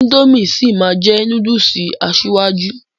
Índòmí sí máa jẹ núdùùsì asíwájú.